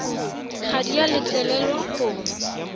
ga di a letlelelwa go